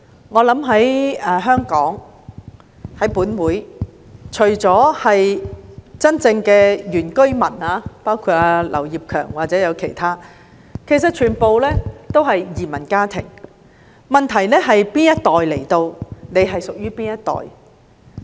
代理主席，我想，在香港，除了真正的原居民，包括本會的劉業強議員或其他人，其實全部也是移民家庭，分別只在於屬於哪一代的來港移民。